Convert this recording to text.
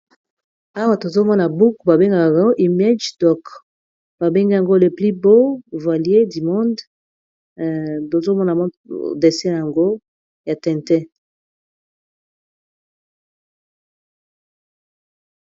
Awa tozomona buoku ba bengakaa image dok ba benge yango leplus bo volier du monde tozomona modese yango ya tenté